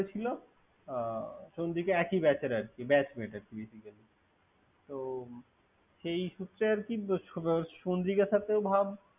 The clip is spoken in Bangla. করেছেল। চন্দ্রিকা একই Batch এর কি। Batchmate আরকি। Basically ।